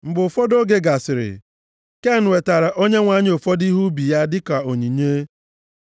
Mgbe ụfọdụ oge gasịrị, Ken wetaara Onyenwe anyị ụfọdụ ihe ubi ya dịka onyinye.